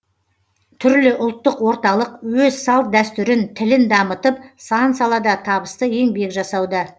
түрлі ұлттық орталық өз салт дәстүрін тілін дамытып сан салада табысты еңбек жасауда